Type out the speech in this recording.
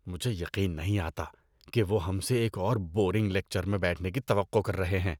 مجھے یقین نہیں آتا کہ وہ ہم سے ایک اور بورنگ لیکچر میں بیٹھنے کی توقع کر رہے ہیں۔